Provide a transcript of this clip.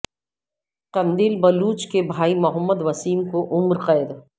قندیل بلوچ کے بھائی محمد وسیم کو عمر قید